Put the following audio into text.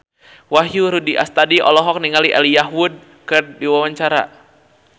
Wahyu Rudi Astadi olohok ningali Elijah Wood keur diwawancara